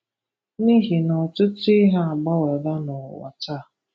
N'ihi na ọtụtụ ihe agbanweela n'ụwa taa